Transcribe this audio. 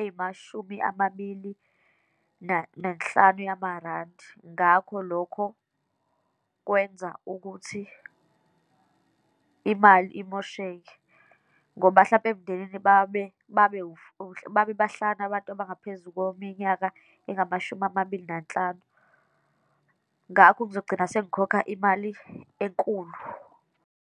eyimashumi amabili nanhlanu yamarandi. Ngakho lokho kwenza ukuthi imali imosheke, ngoba mhlampe emndenini, babe, babe babe bahlanu abantu abangaphezu kweminyaka engamashumi amabili nanhlanu. Ngakho ngizogcina sengikhokha imali enkulu.